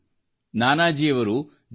ಆಗ ನಾನಾಜಿ ದೇಶ್ಮುಖ್ರವರು ಜೆ